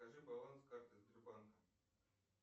покажи баланс карты сбербанка